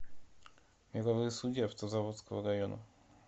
мировые судьи автозаводского района